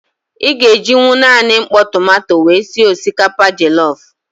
Ị ga-ejinwu naanị mkpọ tomanto wee sị osikapa jọlọf.